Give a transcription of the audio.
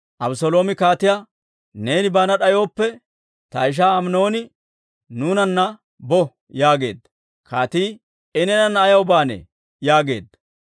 Abeseeloomi kaatiyaa, «Neeni baana d'ayooppe, ta ishaa Aminooni nuunanna bo» yaageedda. Kaatii, «I neenana ayaw baanee?» yaageedda.